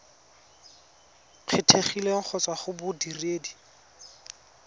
kgethegileng go tswa go bodiredi